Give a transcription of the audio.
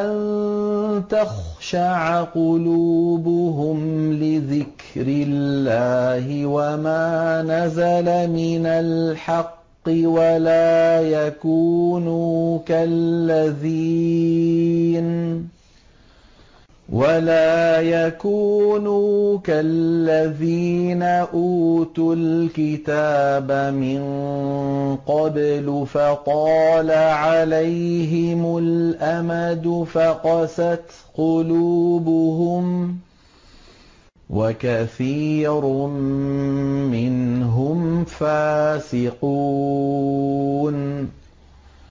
أَن تَخْشَعَ قُلُوبُهُمْ لِذِكْرِ اللَّهِ وَمَا نَزَلَ مِنَ الْحَقِّ وَلَا يَكُونُوا كَالَّذِينَ أُوتُوا الْكِتَابَ مِن قَبْلُ فَطَالَ عَلَيْهِمُ الْأَمَدُ فَقَسَتْ قُلُوبُهُمْ ۖ وَكَثِيرٌ مِّنْهُمْ فَاسِقُونَ